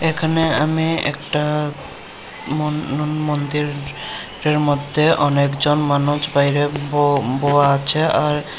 এখানে আমি একটা মন-নন-মন্দিরের মধ্যে অনেকজন মানুষ বাইরে ব-বহা আছে আর--